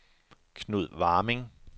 Knud Warming